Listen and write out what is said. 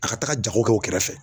A ka taga jago kɛ o kɛrɛfɛ